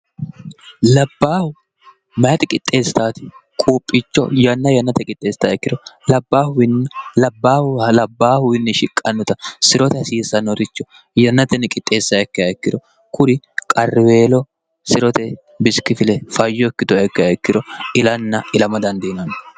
labbaahu mayati qixxeestaati quuphicho yanna yannate qixxeesstaa ikkiro labbaahlabbaahuwiinni shiqqannuta sirote hasiissannoricho yannatenni qixxeessaa ikki hayikkiro kuri qariweelo si'rote bisikifile fayyo ikkitoy ikka haikkiro ilanna ilamo dandiinonno